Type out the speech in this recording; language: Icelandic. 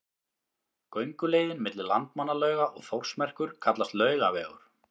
Gönguleiðin milli Landmannalauga og Þórsmerkur kallast Laugavegur.